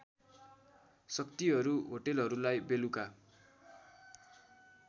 शक्तिहरू होटलहरूलाई बेलुका